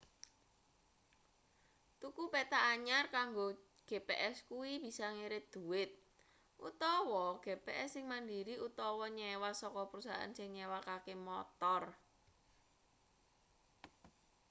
tuku peta anyar kanggo gps kuwi bisa ngirit dhuwit utawa gps sing mandiri utawa nyewa saka perusahaan sing nyewakake montor